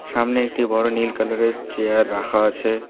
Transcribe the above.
সামনে একটি বড় নীল কালারের চেয়ার রাখা আছে।